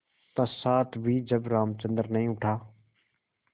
पश्चार भी जब रामचंद्र नहीं उठा